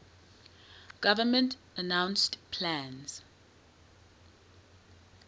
government announced plans